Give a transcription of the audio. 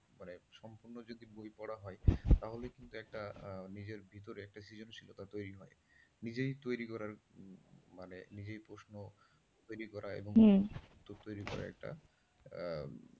সম্পূর্ণ যদি বই পড়া হয় তাহলে কিন্তু একটা নিজের ভিতর একটা সৃজনশীলতা তৈরি হয়, নিজেই তৈরি করার মানে নিজেই প্রশ্ন তৈরি করা এবং উত্তর তৈরি করা একটা,